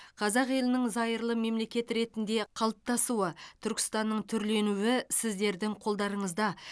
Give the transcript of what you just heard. қазақ елінің зайырлы мемлекет ретінде қалыптасуы түркістанның түрленуі сіздердің қолдарыңызда